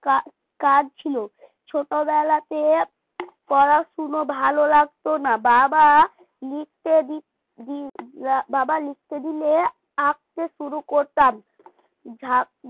কাজ কাজ ছিল ছোটবেলাতে পড়াশোনা ভালো লাগত না বাবা লিখতে দিৎ বাবা লিখতে দিলে আঁকতে শুরু করতাম যা